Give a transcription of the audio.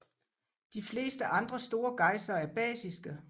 De fleste andre store gejsere er basiske